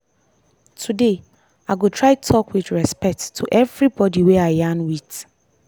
today i go try talk with respect to everybody wey i yarn with.